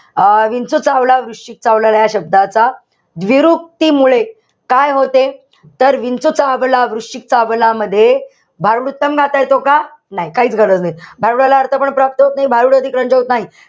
अं विंचू चावला, वृश्चिक चावला. या शब्दाचा विरूक्तीमुळे काय होते? तर विंचू चावला, वृश्चिक चावला मध्ये भारूड येतो का? नाही, काहीच गरज नाही. भारूडाला अर्थ पण प्राप्त होत नाही. होत नाही.